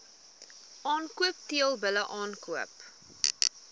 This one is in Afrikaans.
aankoop teelbulle aankoop